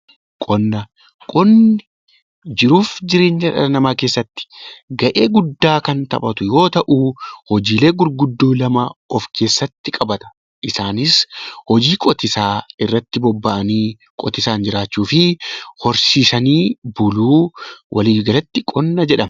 Qonna Qonni jiruu fi jireenya dhala namaa keessatti gahee guddaa kan taphatu yoo ta'u, hojiilee gurguddoo lama of keessatti qabata. Isaanis hojii qotiisaa irrattii boba'anii qotiisaan jiraachuu fi horsiisanii buluu walii galatti qonna jedhama.